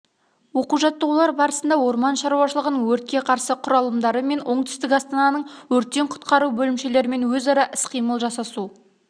оқу-жаттығулар барысында орман шаруашылығының өртке қарсы құралымдары мен оңтүстік астананың өрттен құтқару бөлімшелерімен өзара іс-қимыл жасасу